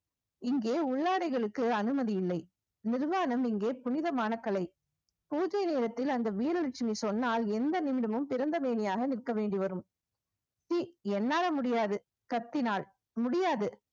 இங்கே உள்ளாடைகளுக்கு அனுமதி இல்லை நிர்வாணம் இங்கே புனிதமான கலை பூஜை நேரத்தில் அந்த வீரலட்சுமி சொன்னால் எந்த நிமிடமும் திறந்த மேனியாக நிற்க வேண்டி வரும் சி என்னால முடியாது கத்தினால் முடியாது